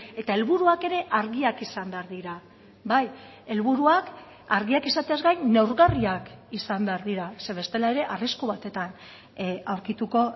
eta helburuak ere argiak izan behar dira bai helburuak argiak izateaz gain neurgarriak izan behar dira zeren bestela ere arrisku batetan aurkituko